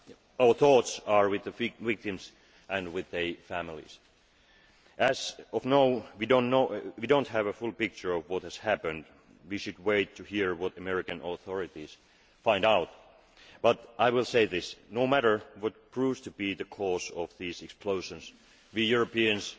Our thoughts are with the victims and with their families. We do not yet have a full picture of what happened and should wait to hear what the American authorities find out, but I will say this no matter what proves to be the cause of these explosions, we Europeans